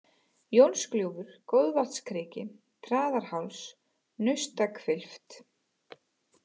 Jónsgljúfur, Goðvatnskriki, Traðarháls, Naustahvilft